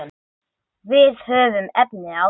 Við höfum efni á því.